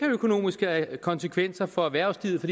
økonomiske konsekvenser for erhvervslivet